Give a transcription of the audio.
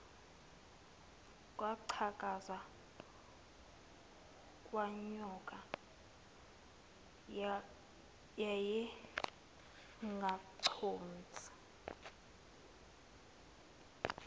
kwaqhakaza kwanyoka wayengaconsi